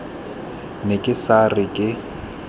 ne ke sa re ke